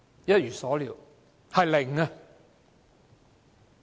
一如所料，是零。